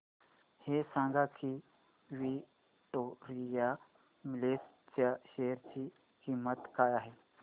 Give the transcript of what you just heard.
हे सांगा की विक्टोरिया मिल्स च्या शेअर ची किंमत काय आहे